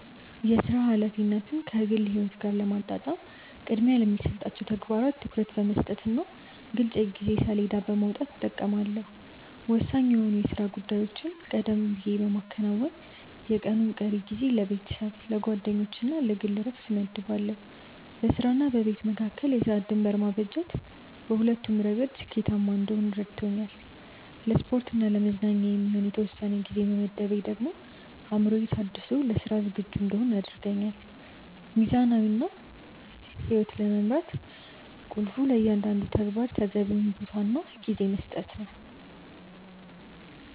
የሥራ ኃላፊነትን ከግል ሕይወት ጋር ለማጣጣም ቅድሚያ ለሚሰጣቸው ተግባራት ትኩረት በመስጠትና ግልጽ የጊዜ ሰሌዳ በማውጣት እጠቀማለሁ። ወሳኝ የሆኑ የሥራ ጉዳዮችን ቀደም ብዬ በማከናወን፣ የቀኑን ቀሪ ጊዜ ለቤተሰብ፣ ለጓደኞችና ለግል ዕረፍት እመድባለሁ። በሥራና በቤት መካከል የሰዓት ድንበር ማበጀት በሁለቱም ረገድ ውጤታማ እንድሆን ይረዳኛል። ለስፖርትና ለመዝናኛ የሚሆን የተወሰነ ጊዜ መመደቤ ደግሞ አእምሮዬ ታድሶ ለሥራ ዝግጁ እንድሆን ያደርገኛል። ሚዛናዊ ሕይወት ለመምራት ቁልፉ ለእያንዳንዱ ተግባር ተገቢውን ቦታና ጊዜ መስጠት ነው።